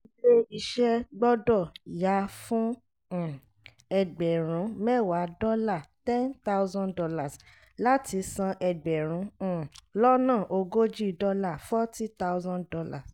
ilé iṣẹ́ gbọ́dọ̀ yá fún um ẹgbẹ̀rún mẹ́wàá dọ́là ($ ten thousand ) láti san ẹgbẹ̀rún um lọ́nà ogójì dọ́là ($ forty thousand ).